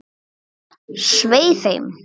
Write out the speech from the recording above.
Svei þeim!